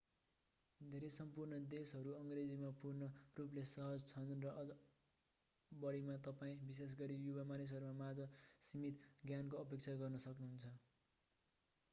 धेरै सम्पूर्ण देशहरू अङ्ग्रेजीमा पूर्ण रूपले सहज छन् र अझ बढीमा तपाईं विशेष गरी युवा मानिसहरू माझ सीमित ज्ञानको अपेक्षा गर्न सक्नुहुन्छ